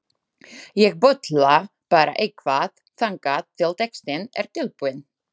Ég bulla bara eitthvað þangað til textinn er tilbúinn.